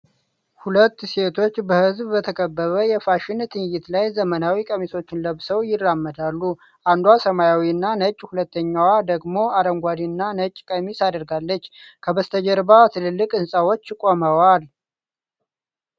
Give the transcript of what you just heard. ሁለት ሴቶች በሕዝብ በተከበበ የፋሽን ትዕይንት ላይ ዘመናዊ ቀሚሶችን ለብሰው ይራመዳሉ። አንዷ ሰማያዊና ነጭ፣ ሁለተኛዋ ደግሞ አረንጓዴ እና ነጭ ቀሚስ አድርጋለች። ከበስተጀርባ ትላልቅ ህንጻዎች ቆመዋል።